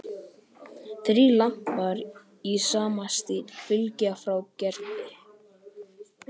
Þrír lampar í sama stíl fylgja frá Gerði.